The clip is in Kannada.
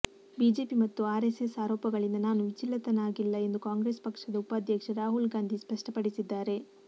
ಬಿಜೆಪಿ ಮತ್ತು ಆರೆಸ್ಸೆಸ್ ಆರೋಪಗಳಿಂದ ನಾನು ವಿಚಲಿತನಾಗಿಲ್ಲ ಎಂದು ಕಾಂಗ್ರೆಸ್ ಪಕ್ಷದ ಉಪಾಧ್ಯಕ್ಷ ರಾಹುಲ್ ಗಾಂಧಿ ಸ್ಪಷ್ಟಪಡಿಸಿದ್ದಾರೆ